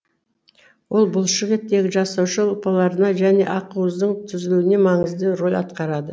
ол бұлшық еттегі жасуша ұлпаларында және ақуыздың түзілуінде маңызды рөл атқарады